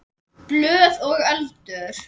Blöð og eldur.